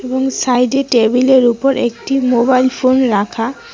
এবং সাইডে টেবিলের উপর একটি মোবাইল ফোন রাখা।